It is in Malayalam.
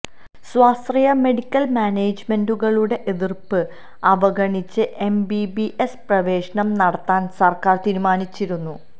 സ്വാശ്രയ മെഡിക്കൽ മാനേജ്മെന്റുകളുടെ എതിർപ്പ് അവഗണിച്ച് എംബിബിഎസ് പ്രവേശനം നടത്താൻ സർക്കാർ തീരുമാനിച്ചിരുന്നു